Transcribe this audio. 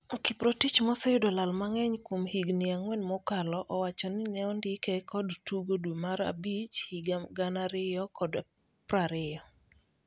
Kiprotich ma oseyudo lal mangeny kuom higni angwen mokalo owacho ni ne ondikre kod tugo dwe mar abich higa gana ariyo kod prariyo